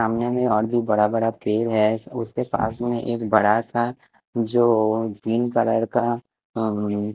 सामने मे और भी बड़ा बड़ा पेड़ है उसके पास मे एक बड़ा सा जोअ ग्रीन कलर का अ --